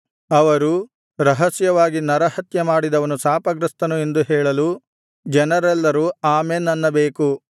ಅವರು ರಹಸ್ಯವಾಗಿ ನರಹತ್ಯಮಾಡಿದವನು ಶಾಪಗ್ರಸ್ತನು ಎಂದು ಹೇಳಲು ಜನರೆಲ್ಲರೂ ಆಮೆನ್ ಅನ್ನಬೇಕು